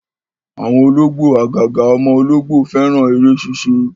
Àwọn ológbò àgàgà ọmọ ológbò, fẹ́ràn eré ṣíṣe